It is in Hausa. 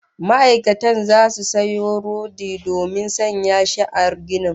Ma'aikatan zasu sayo rodi domin sanya shi a ginin